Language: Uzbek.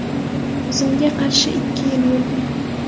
O‘zimga qarshi ikki yil yurdim.